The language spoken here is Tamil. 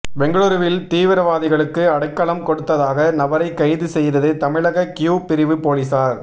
பெங்களுருவில் தீவிரவாதிகளுக்கு அடைக்கலம் கொடுத்ததாக நபரை கைது செய்தது தமிழக க்யூ பிரிவு போலீசார்